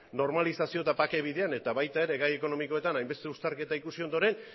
normalizazio eta bake bidean eta baita gai ekonomikoetan ere hainbeste uztarketa ikusi ondoren